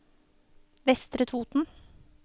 Vestre Toten